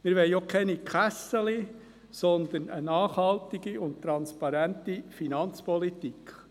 Wir wollen auch keine «Kässeli», sondern eine nachhaltige und transparente Finanzpolitik.